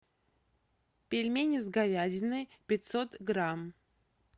пельмени с говядиной пятьсот грамм